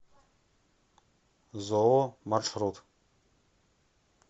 зоо маршрут